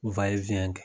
kɛ